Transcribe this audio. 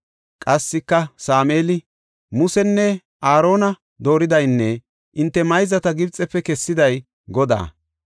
Qassika Sameeli, “Musenne Aarona dooridaynne hinte mayzata Gibxefe kessiday Godaa.